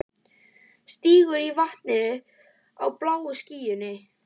Stingur sér í vatnið á bláu skýlunni.